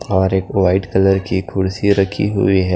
और एक white colour की कुर्सी रखी हुई है।